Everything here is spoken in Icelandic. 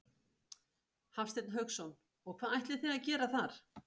Hafsteinn Hauksson: Og hvað ætlið þið að gera þar?